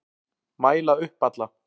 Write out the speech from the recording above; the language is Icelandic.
Mæla upp alla